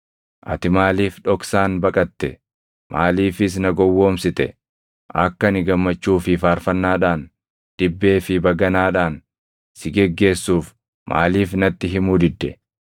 Ati maaliif dhoksaan baqatte? Maaliifis na gowwoomsite? Akka ani gammachuu fi faarfannaadhaan, dibbee fi baganaadhaan si geggeessuuf maaliif natti himuu didde?